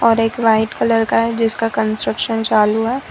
एक white colour का है जिसका कंस्ट्रक्शन चालू है।